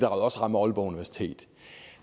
også rammer aalborg universitet